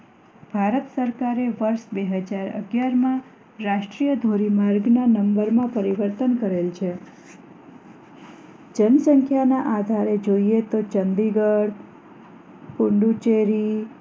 ભારત સરકારે વર્ષ બે હજાર અગિયારમાં રાષ્ટ્રીય ધોરીમાર્ગ ના નંબરો માં પરિવર્તન કરેલ છે જણ સંખ્યા ના આધારે જોઈએ તો ચંડીગઢ પોંડીચેરી